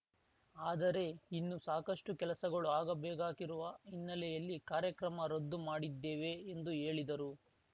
ಆದರೆ ಇನ್ನು ಸಾಕಷ್ಟುಕೆಲಸಗಳು ಆಗಬೇಕಾಗಿರುವ ಹಿನ್ನೆಲೆಯಲ್ಲಿ ಕಾರ್ಯಕ್ರಮ ರದ್ದು ಮಾಡಿದ್ದೇವೆ ಎಂದು ಹೇಳಿದರು